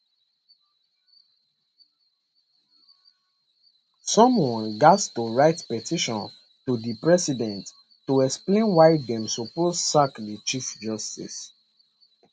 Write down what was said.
someone gat to write petition to di president to explain why dem suppose sack di chief justice